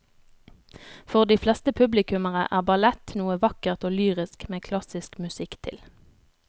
For de fleste publikummere er ballett noe vakkert og lyrisk med klassisk musikk til.